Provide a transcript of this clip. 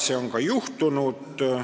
Nii on ka juhtunud.